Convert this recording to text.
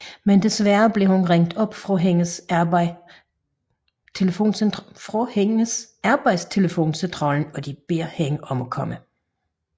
Men desværre bliver hun ringet op fra hende arbejde telefoncentralen og de beder hende om at komme